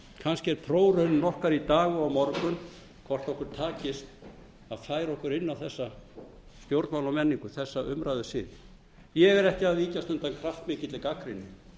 kannski er prófraunin okkar í dag og á morgun hvort okkur takist að færa okkur inn á þessa stjórnmálamenningu þessa umræðusiði ég er ekki að víkjast undan kraftmikilli gagnrýni